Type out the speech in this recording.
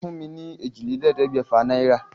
Fún mi ní èjìlélẹ́ẹ̀ẹ́dẹ́gbẹ́fà naira.